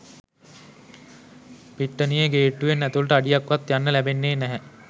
පිට්ටනියේ ගේට්ටුවෙන් ඇතුලට අඩියක් වත් යන්න ලැබෙන්නේ නැහැ